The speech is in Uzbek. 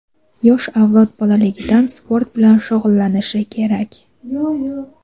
Yosh avlod bolaligidan sport bilan shug‘ullanishi kerak.